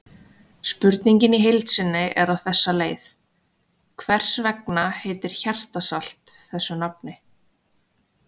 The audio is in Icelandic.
Spurningin í heild sinni er á þessa leið: Hvers vegna heitir hjartarsalt þessu nafni?